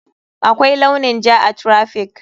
Akwai launin ja a traffic.